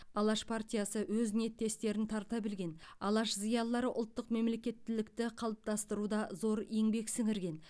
алаш партиясы өз ниеттестерін тарта білген алаш зиялылары ұлттық мемлекеттілікті қалыптастыруда зор еңбек сіңірген